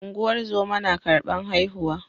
Ungozoma na karban haihuwa